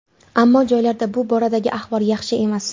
Ammo joylarda bu boradagi ahvol yaxshi emas.